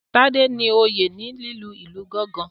Tade ní oyé ní lílu ilù gangan